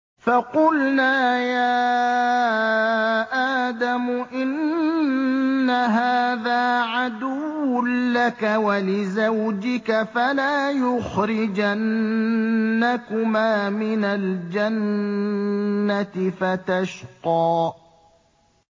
فَقُلْنَا يَا آدَمُ إِنَّ هَٰذَا عَدُوٌّ لَّكَ وَلِزَوْجِكَ فَلَا يُخْرِجَنَّكُمَا مِنَ الْجَنَّةِ فَتَشْقَىٰ